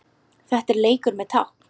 Þetta er leikur með tákn